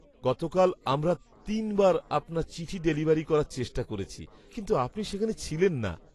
গতকাল আমরা তিনবার আপনার চিঠি ডেলিভার করার চেষ্টা করেছি কিন্তু আপনি সেখানে ছিলেন না।